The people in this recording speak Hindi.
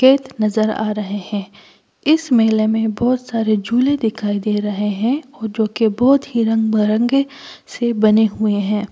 खेत नज़र आ रहे हैं इस मेले में बहुत सारे झूले दिखाई दे रहे हैं जो कि बहुत ही रंग बरंगे से बने हुए हैं।